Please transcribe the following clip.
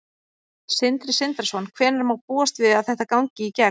Sindri Sindrason: Hvenær má búast við að þetta gangi í gegn?